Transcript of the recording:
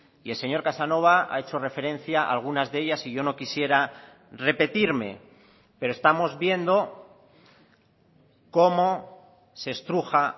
y el señor casanova ha hecho referencia a algunas de ellas y yo no quisiera repetirme pero estamos viendo cómo se estruja